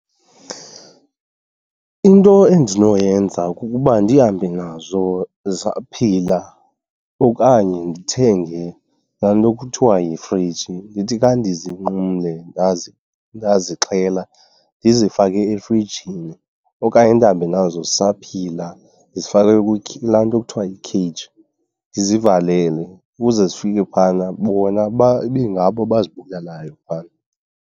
Into endinoyenza kukuba ndihambe nazo zisaphila okanye ndithenge laa nto kuthiwa yifriji ndithi. Xa ndizinqumle ndazixhela ndizifake efrijini okanye ndihambe nazo zisaphila zifakwe kulaa nto kuthiwa yi-cage, ndizivalele ukuze zifike phana bona ibe ngabo abazibulalayo phana.